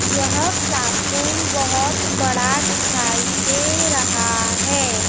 यह क्लासरूम बहुत बड़ा दिखाई दे रहा है।